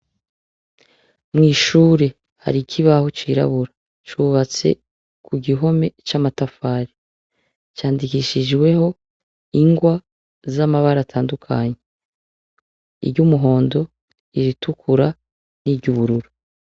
Mw'ishure hari iki aho cirabura cubatse ku gihome c'amatafari, candikishijweho ingwa z'amabara atandukanye, iry’umuhondo iritukura n'iryubururu.